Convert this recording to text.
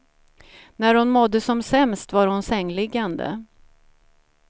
När hon mådde som sämst var hon sängliggande.